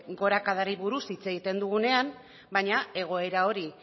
gorakadari buruz hitz egiten dugunean baina egoera hori